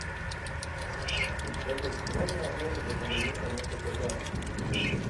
салют можно оформить одновременно несколько карт